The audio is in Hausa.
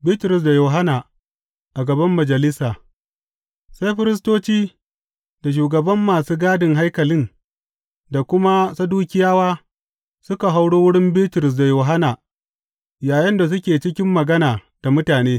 Bitrus da Yohanna a gaban majalisa Sai firistoci da shugaban masu gadin haikalin da kuma Sadukiyawa suka hauro wurin Bitrus da Yohanna yayinda suke cikin magana da mutane.